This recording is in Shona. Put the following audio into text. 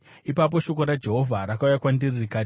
Ipapo shoko raJehovha rakauya kwandiri rikati,